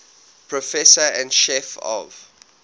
professor and chief of